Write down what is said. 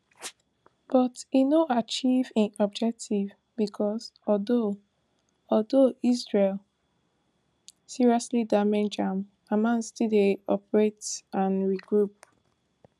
but e no achieve im objective becos although although israel seriously damage am hamas still dey operate and regroup